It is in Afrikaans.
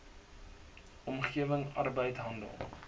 omgewing arbeid handel